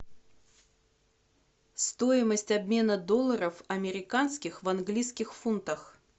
стоимость обмена долларов американских в английских фунтах